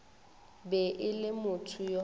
be e le motho yo